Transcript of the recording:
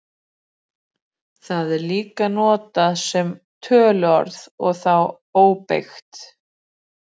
Það er líka notað sem töluorð og þá óbeygt.